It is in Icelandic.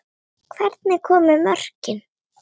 Hvernig komu mörkin?